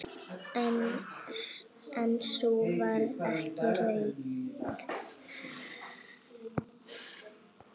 En sú varð ekki raunin.